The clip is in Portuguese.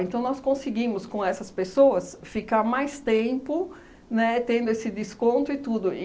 nós conseguimos com essas pessoas ficar mais tempo, né, tendo esse desconto e tudo.